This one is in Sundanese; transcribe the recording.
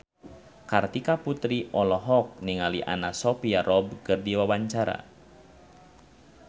Kartika Putri olohok ningali Anna Sophia Robb keur diwawancara